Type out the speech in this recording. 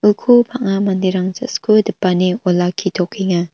uko bang·a manderang ja·sku dipane olakkitokenga.